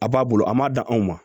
A b'a bolo a ma da anw ma